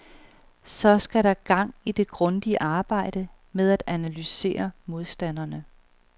Så skal der gang i det grundige arbejde med at analysere modstanderne.